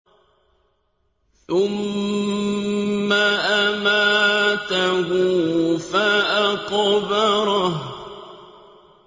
ثُمَّ أَمَاتَهُ فَأَقْبَرَهُ